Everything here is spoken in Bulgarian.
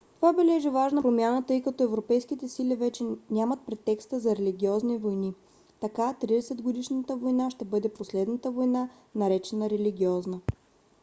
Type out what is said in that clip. това бележи важна промяна тъй като европейските сили вече нямат претекста на религиозни войни. така тридесетгодишната война ще бъде последната война наречена религиозна